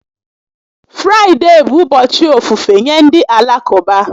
Fraịde bụ ụbọchị ofufe nye ndị Alakụba